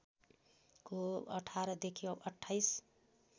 को १८ देखि २८